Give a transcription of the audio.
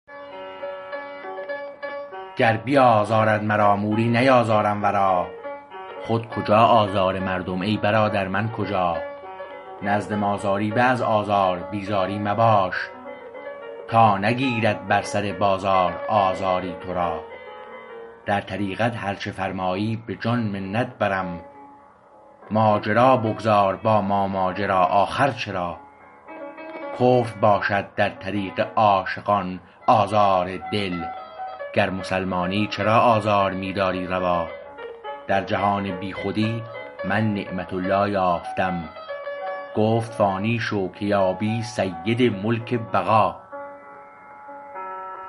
گر بیازارد مرا موری نیازارم ورا خود کجا آزار مردم ای برادر من کجا نزد ما زاری به از آزار بی زاری مباش تا نگیرد بر سر بازار آزاری تو را در طریقت هر چه فرمایی به جان منت بریم ماجرا بگذار با ما ماجرا آخر چرا کفر باشد در طریق عاشقان آزار دل گر مسلمانی چرا آزار می داری روا درجهان بیخودی من نعمت الله یافتم گفت فانی شو که یابی سید ملک بقا